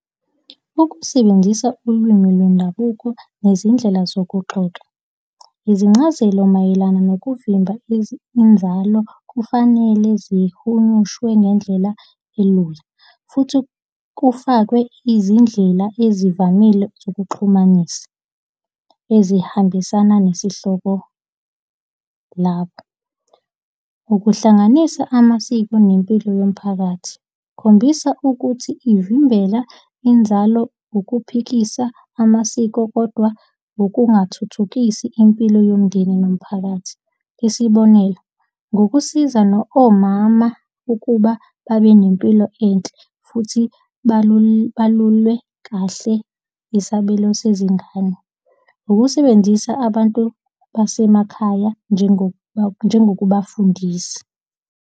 Ukusebenzisa ulwimi lwendabuko nezindlela zokuxoxa. Izincazelo mayelana nokuvimba inzalo kufanele zihumushwe ngendlela elula futhi kufakwe izindlela ezivamile zokuxhumanisa ezihambisana nesihloko labo. Ukuhlanganisa amasiko nempilo yomphakathi. Khombisa ukuthi ivimbela inzalo ukuphikisa amasiko kodwa nokungathuthukisi impilo yomndeni nomphakathi. Isibonelo, ngokusiza omama ukuba babe nempilo enhle futhi balulwe kahle isabelo sezingane. Ukusebenzisa abantu basemakhaya njengokubafundisa.